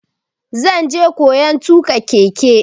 Zan je koyan tuƙa keke.